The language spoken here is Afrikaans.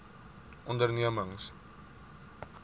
ondernemings